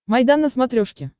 майдан на смотрешке